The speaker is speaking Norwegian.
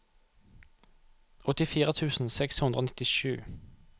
åttifire tusen seks hundre og nittisju